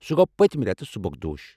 سہُ گوٚو پٔتِمہِ رٮ۪تہٕ سٖبكدوش ۔